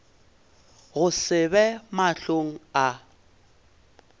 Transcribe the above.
go se be mahlong a